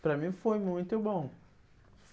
Para mim foi muito bom.